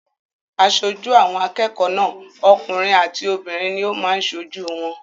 Aṣojú àwọn akẹ́kọ̀ọ́ náà okùnrin àti obìnrin ní ó máa n sojú wọn